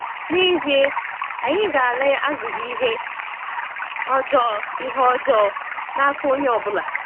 N'ezie, anyị ga-“ala azụghị ihe ọjọọ ihe ọjọọ n’aka onye ọ bụla.”